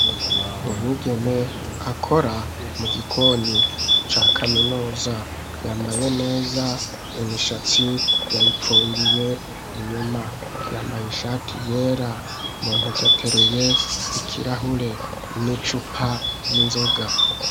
Umwigeme, akora mu gikoni, ca kaminuza; yambaye neza, imishatsi yayipfungiye inyuma; yambaye ishati yera, mu ntoke, ateruye ikirahure, n'icupa ry'inzoga.